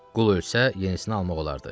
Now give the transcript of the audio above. Qul ölsə, yenisini almaq olardı.